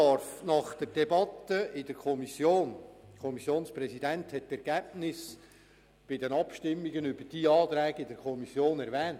Der Kommissionspräsident hat die Ergebnisse der Abstimmungen über diese Anträge in der Kommission erwähnt: